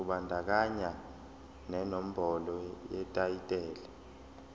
kubandakanya nenombolo yetayitela